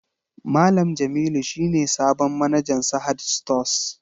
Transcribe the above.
Malam Jamilu shi ne sabon manajan Sahad stores